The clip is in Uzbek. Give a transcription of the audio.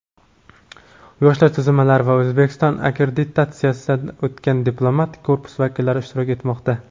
yoshlar tuzilmalari va O‘zbekistonda akkreditatsiyadan o‘tgan diplomatik korpus vakillari ishtirok etmoqda.